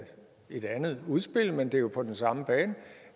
et andet udspil men det er jo på den samme bane